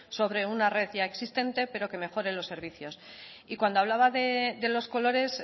sobre una red ya existente pero que mejore los servicios y cuando hablaba de los colores